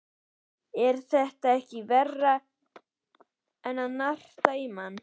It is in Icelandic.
Er þetta ekki verra en að narta í mann?